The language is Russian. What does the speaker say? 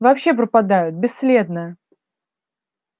вообще пропадают бесследно